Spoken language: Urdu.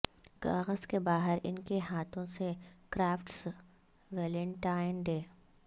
کاغذ کے باہر ان کے ہاتھوں سے کرافٹس ویلنٹائن ڈے